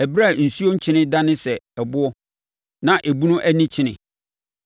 ɛberɛ a nsuo kyene dane sɛ ɛboɔ, na ebunu ani kyene?